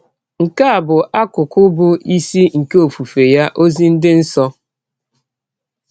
Nke a bụ akụkụ bụ́ isi nke ọfụfe ya, “ ọzi dị nsọ. ”